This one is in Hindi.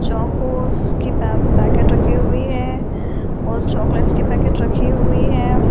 चोकोस के पेब पैकेट रखी हुई हैं और चॉकलेटस के पैकेट रखी हुई हैं अ --